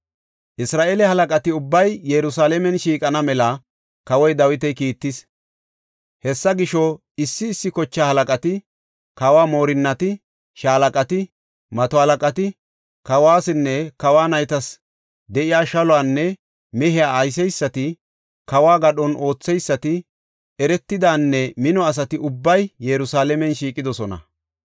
Isra7eele halaqati ubbay Yerusalaamen shiiqana mela kawoy Dawiti kiittis. Hessa gisho, issi issi kochaa halaqati, kawo moorinnati, shaalaqati, mato halaqati, kawuwasinne kawa naytas de7iya shaluwanne mehiya ayseysati, kawo gadhon ootheysati, eretidanne mino asati ubbay Yerusalaamen shiiqidosona.